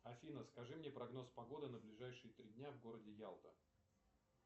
афина скажи мне прогноз погоды на ближайшие три дня в городе ялта